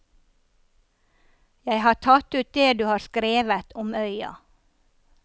Jeg har tatt ut det du har skrevet om øya.